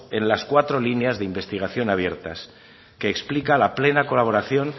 en las cuatro líneas de investigación abiertas que explica la plena colaboración